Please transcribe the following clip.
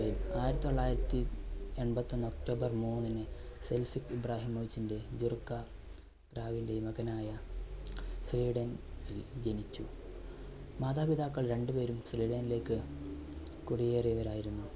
ആയിരത്തി തൊള്ളായിരത്തി എൺപത്തൊന്ന് october മൂന്നിന് സെൽഫിക് ഇബ്രാഹിമോവിച്ചന്റെ, ജെറുക്കാ ഗ്രാവിന്റെയും മകനായ സ്വീഡൻ~നിൽ ജനിച്ചു. മാതാപിതാക്കൾ രണ്ടുപേരും ഫിലിഡാനിലേക്ക് കുടിയേറിയവരായിരുന്നു.